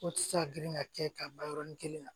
O tɛ se ka girin ka kɛ ka ban yɔrɔnin kelen na